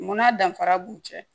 Munna danfara b'u cɛ